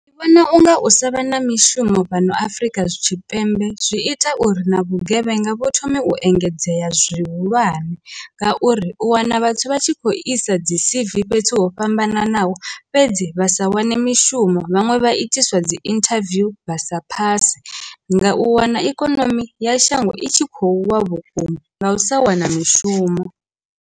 Ndi vhona unga u sa vha na mishumo fhano Afrika Tshipembe zwi ita uri na vhugevhenga vhu thome u engedzea zwihulwane ngauri u wana vhathu vha tshi kho isa dzi C_V fhethu ho fhambananaho, fhedzi vha sa wane mishumo vhaṅwe vha itiswa dzi interview vha sa phase nga u wana ikonomi ya shango i tshi khou wa vhukuma nga u sa wana mishumo.